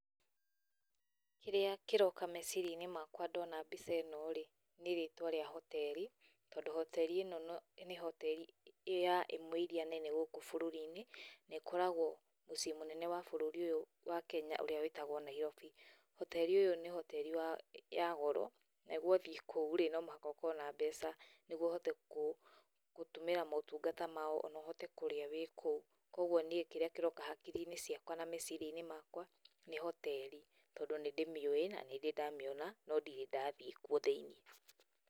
Kĩrĩa kĩroka meciria-inĩ makwa ndona mbica ĩno rĩ, nĩ rĩtwa rĩa hoteri, tondũ hoteri ĩno nĩ hoteri ya ĩmwe iria nene gũkũ bũrũri-inĩ, na ĩkoragwo mũciĩ mũnene wa bũrũri ũyũ wa Kenya ũrĩa wĩtagwo Nairobi. Hoteri ũyũ nĩ hoteri wa, ya goro na wathiĩ kou no mũhaka ũkorwo na mbeca nĩguo ũhote gũtũmĩra motungata mao na ona ũhote kũrĩa rĩrĩa wĩ kou. Koguo niĩ kĩrĩa kĩroka hakiri-inĩ ciakwa na meciria-inĩ makwa nĩ hoteri tondũ nĩ ndĩmĩũĩ na nĩ ndĩ ndamĩona, no ndirĩ ndathiĩ kuo thĩiniĩ.